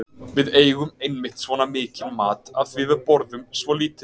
Við eigum einmitt svona mikinn mat af því að við borðum svo lítið.